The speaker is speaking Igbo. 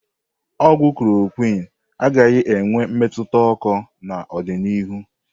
Ogwu klorokwin agakwaghị enwe mmetụta oko n'ọdịniihu.